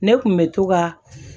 Ne kun bɛ to ka